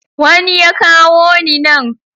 Wani ya kawo ni nan.